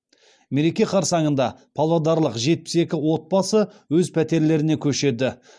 мереке қарсаңында павлодарлық жетпіс екі отбасы өз пәтерлеріне көшеді